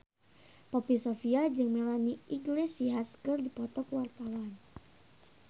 Poppy Sovia jeung Melanie Iglesias keur dipoto ku wartawan